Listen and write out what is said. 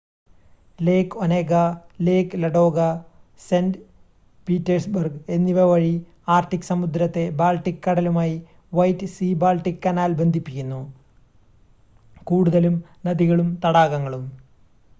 ലേക് Onega Lake Ladoga Saint Petersburg എന്നിവ വഴി Arctic സമുദ്രത്തെ ബാൾട്ടിക് കടലുമായി വൈറ്റ് സീ-ബാൾട്ടിക് കനാൽ ബന്ധിപ്പിക്കുന്നു കൂടുതലും നദികളും തടാകങ്ങളും